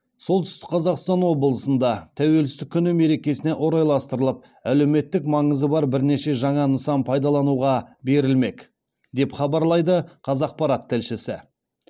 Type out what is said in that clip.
солтүстік қазақстан облысында тәуелсіздік күні мерекесіне орайластырылып әлеуметтік маңызы бар бірнеше жаңа нысан пайдалануға берілмек деп хабарлайды қазақпарат тілшісі